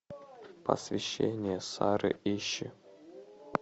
посвящение сары ищи